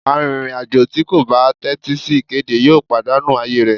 Àrìnrìn-àjò tí kò bá tẹ́tí sí ìkéde yóò pàdánù ààyè rẹ̀.